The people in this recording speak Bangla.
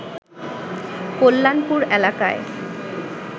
কল্যাণপুর এলাকায়